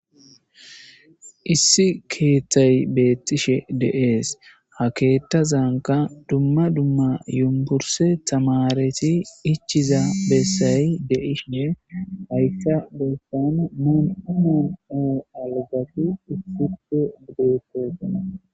issi keeththay beettishe de7ees ha keetta zaanka dumma dumma yumburse tamareti ichiza bessay de7ishine hayssa bossan moonumo oo algafi ufupo bugeekkogana